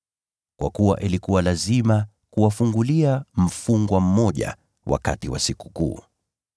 Kwa kuwa ilikuwa lazima kuwafungulia mfungwa mmoja wakati wa Sikukuu.]